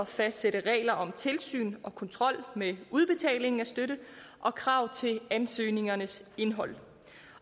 fastsætte regler om tilsyn og kontrol med udbetaling af støtte og krav til ansøgningernes indhold